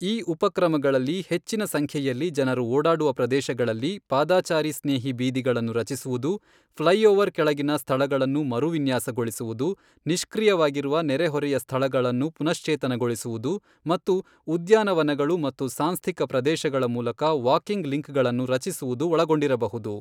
ಈ ಉಪಕ್ರಮಗಳಲ್ಲಿ ಹೆಚ್ಚಿನ ಸಂಖ್ಯೆಯಲ್ಲಿ ಜನರು ಓಡಾಡುವ ಪ್ರದೇಶಗಳಲ್ಲಿ ಪಾದಚಾರಿ ಸ್ನೇಹಿ ಬೀದಿಗಳನ್ನು ರಚಿಸುವುದು, ಫ್ಲೈಓವರ್ ಕೆಳಗಿನ ಸ್ಥಳಗಳನ್ನು ಮರು ವಿನ್ಯಾಸಗೊಳಿಸುವುದು, ನಿಷ್ಕ್ರಿಯವಾಗಿರುವ ನೆರೆಹೊರೆಯ ಸ್ಥಳಗಳನ್ನು ಪುನಶ್ಚೇತನಗೊಳಿಸುವುದು ಮತ್ತು ಉದ್ಯಾನವನಗಳು ಮತ್ತು ಸಾಂಸ್ಥಿಕ ಪ್ರದೇಶಗಳ ಮೂಲಕ ವಾಕಿಂಗ್ ಲಿಂಕ್ಗಳನ್ನು ರಚಿಸುವುದು ಒಳಗೊಂಡಿರಬಹುದು.